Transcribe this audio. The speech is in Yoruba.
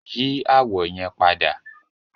Yi awọ yẹn pada!